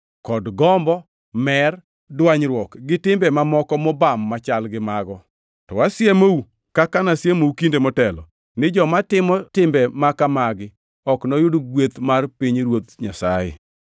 kod gombo; mer, dwanyruok, gi timbe mamoko mobam machal gi mago. To asiemou kaka nasiemou kinde motelo, ni joma timo timbe ma kamagi ok noyud gweth mar pinyruoth Nyasaye.